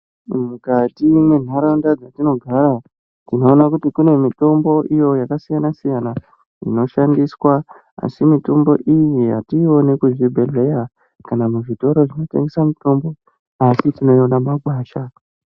Mukati mwenharaunda dzatinogara tinoona kuti kune mitombo iyo yakasiyana-siyana inoshandiswa. Asi mitombo iyi hatiioni kuzvibhedhleya kana muzvitoro zvinotengesa mitombo, asi tinoiona mumagwasha.